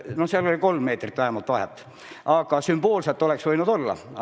No seal oli vähemalt kolm meetrit vahet, aga sümboolselt oleks see võinud ju olla.